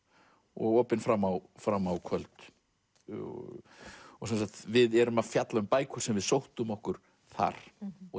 og opinn fram á fram á kvöld sem sagt við erum að fjalla um bækur sem við sóttum okkur þar og